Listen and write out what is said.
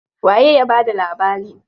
Waye ya bada labarin?